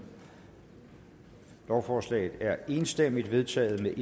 lovforslaget er enstemmigt vedtaget med